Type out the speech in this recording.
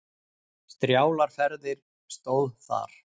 Strjálar ferðir stóð þar.